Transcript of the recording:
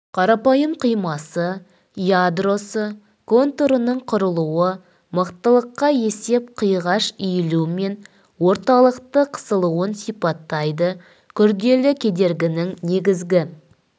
қарапайым қимасы ядросы контурының құрылуы мықтылыққа есеп қиғаш иілу мен орталықты қысылуын сипаттайды күрделі кедергінің негізгі